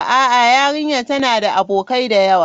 A'a, yarinyar tana da abokai da yawa.